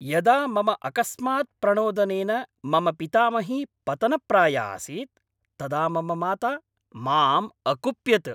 यदा मम अकस्मात् प्रणोदनेन मम पितामही पतनप्राया आसीत् तदा मम माता माम् अकुप्यत्।